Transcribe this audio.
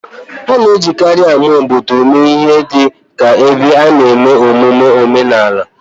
A na-ejikarị ama obodo eme ihe dị ka ebe a na-eme mmemme omenala